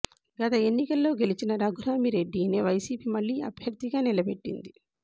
గత ఎన్నికల్లో గెలిచిన రఘురామిరెడ్డినే వైసీపీ మళ్లీ అభ్యర్థిగా నిలబెట్టింది